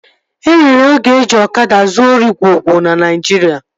O nwere oge eji ọkada zuo ori gwo gwo na Naijiria